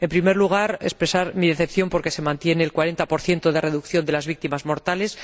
En primer lugar, expresar mi decepción porque se mantiene el 40 de reducción de las víctimas mortales.